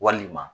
Walima